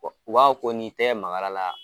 O o Bawo ko n'i tɛgɛ magara la.